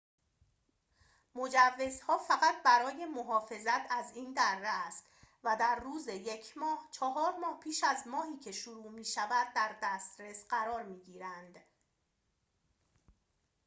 مجوزها فقط برای محافظت از این دره است و در روز ۱ ماه چهار ماه پیش از ماهی که شروع می‌شود در دسترس قرار می‌گیرند